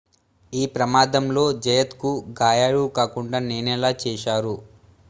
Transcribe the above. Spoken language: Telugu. ఈ ప్రమాదంలో జయత్ కు గాయాలు కాకుండా నేనలా చేశారు